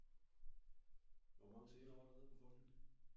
Hvor mange scener var der nede på folkely